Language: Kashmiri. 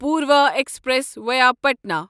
Purva express via Patna